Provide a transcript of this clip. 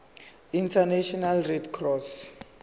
international red cross